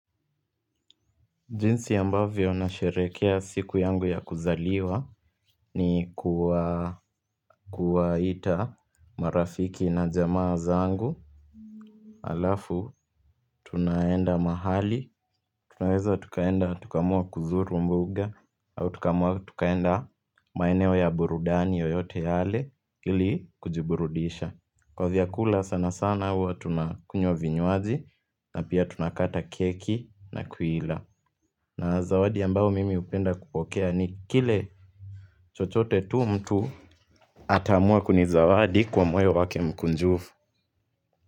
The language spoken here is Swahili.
Jinsi ambavyo anasherehekea siku yangu ya kuzaliwa ni kuwa kuwaita marafiki na jamaa zangu Alafu, tunaenda mahali, tunaweza tukaenda tukamua kuzuru mbuga Tukamua tukaenda maeneo ya burudani yoyote yale ili kujiburudisha Kwa vyakula sana sana huwa tunakunywa vinyuaji na pia tunakata keki na kuila na zawadi ambao mimi hupenda kupokea ni kile chochote tu mtu ataamua kunizawadi kwa moyo wake mkunjufu.